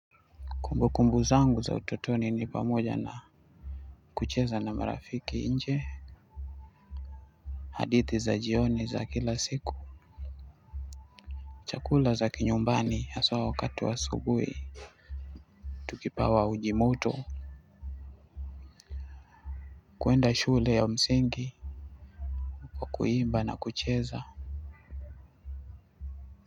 Kumbukumbu zangu za utotoni ni pamoja na kucheza na marafiki nje. Hadithi za jioni za kila siku chakula za kinyumbani haswa wakati wa asubui tukipawa uji moto kuenda shule ya msingi pa kuimba na kucheza.